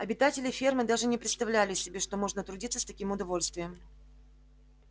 обитатели фермы даже не представляли себе что можно трудиться с таким удовольствием